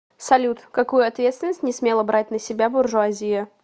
салют какую ответственность не смела брать на себя буржуазия